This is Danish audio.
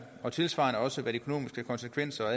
og tilsvarende også hvad de økonomiske konsekvenser og